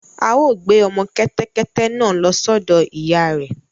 À ó gbé ọmọ kẹ́tẹ́kẹ́tẹ́ náà lọ sọ́dọ̀ ìyá rẹ̀